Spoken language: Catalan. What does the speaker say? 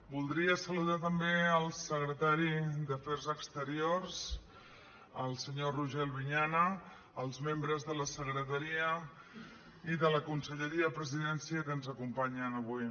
voldria saludar també el secretari d’afers exteriors el senyor roger albinyana els membres de la secretaria i de la conselleria de la presidència que ens acompanyen avui